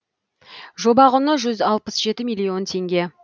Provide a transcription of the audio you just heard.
жоба құны жүз алпыс жеті миллион теңге